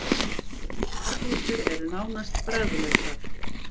Marglyttur eru nánast bragðlausar.